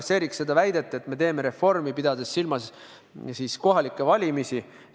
Siin on väidetud, et me teeme reformi, pidades silmas kohalikke valimisi.